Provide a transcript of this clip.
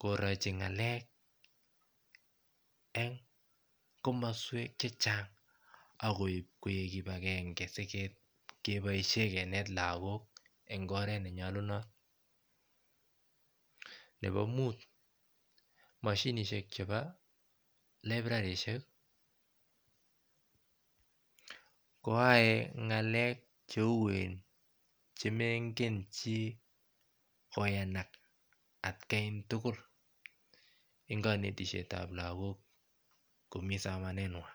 korochi ngalek en kamoswek chechang akoib koik kibakengen sikepoishen Kinet lagok en oret nenyolunot nepo Mut moshinishek chebo librarishek koyoe ngalek cheuen chemengen chi koyanak atkan tugul en konetishetab lagok komi somanenywan